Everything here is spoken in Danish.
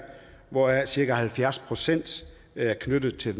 hvoraf cirka halvfjerds procent er knyttet til